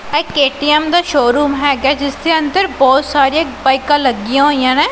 ਇਹ ਕੇਟੀਐਮ ਦਾ ਸ਼ੋਰੂਮ ਹੈਗਾ ਜਿਸ ਦੇ ਅੰਦਰ ਬਹੁਤ ਸਾਰੇ ਬਾਈਕਾਂ ਲੱਗੀਆਂ ਹੋਈਆਂ ਨੇ।